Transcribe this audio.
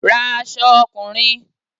Ra aṣọ ọkùnrin!